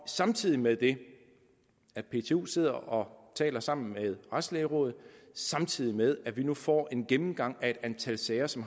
samtidig med det at ptu sidder og taler sammen med retslægerådet og samtidig med at vi nu får en gennemgang af et antal sager som